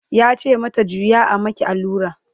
yace mata "juya a maki allura!"